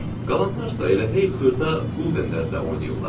Qalanlar isə elə hey xırda quldenlərlə oynayırlar.